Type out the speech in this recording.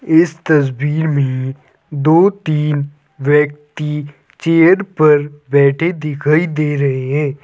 इस तस्वीर में दो तीन व्यक्ति चेयर पर बैठे दिखाई दे रहे हैं।